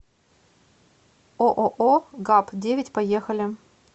ооо гапп девять поехали